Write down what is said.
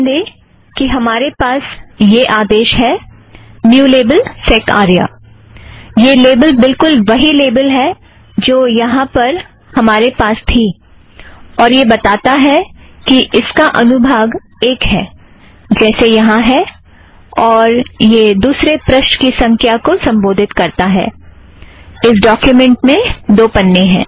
ध्यान दें कि हमारे पास यह आदेश है न्यू लेबल सैक् आर्या यह लेबल बिलकुल वही लेबल है जो यहाँ पर हमरे पास थी और यह बताता है कि इसका अनुभाग एक है जैसे यहाँ है और यह दुसरे पृष्ठ की संख्या को संदर्भित करता है - इस डोक्युमेंट का पन्ना दो है